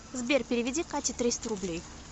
сбер переведи кате триста рублей